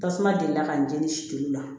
Tasuma delila ka n jeni si telimu la